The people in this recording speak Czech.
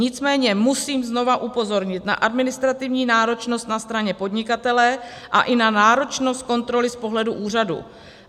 Nicméně musím znovu upozornit na administrativní náročnost na straně podnikatele a i na náročnost kontroly z pohledu úřadu.